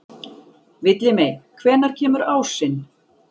Villimey, hvenær kemur ásinn?